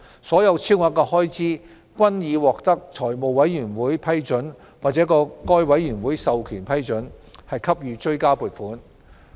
所有超額開支均已獲得財務委員會批准或該委員會授權批准，給予追加撥款。